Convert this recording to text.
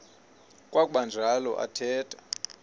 kwakuba njalo athetha